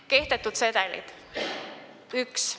Kehtetud sedelid: 1.